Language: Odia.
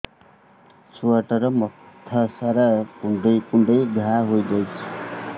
ଛୁଆଟାର ମଥା ସାରା କୁଂଡେଇ କୁଂଡେଇ ଘାଆ ହୋଇ ଯାଇଛି